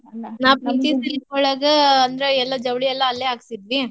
ನಾ ಪ್ರೀತಿ silk ಒಳ್ಗ ಅಂದ್ರ ಎಲ್ಲಾ ಜವ್ಳಿ ಎಲ್ಲಾ ಅಲ್ಲೇ ಹಾಕ್ಸಿದ್ವಿ.